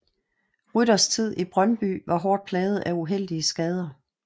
Rytters tid i Brøndby var hårdt plaget af uheldige skader